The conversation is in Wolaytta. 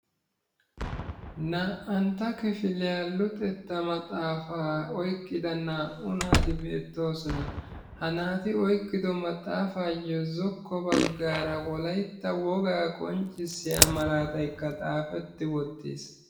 Naa"antta kifiliya luxetta maxaafaa oyqqada naa"u naati beettoosona. Ha naati oyqqiddo maxaafayo zokko baagaa wolaytta wogaa qonccissiya malaataykka xaafeti wottiis.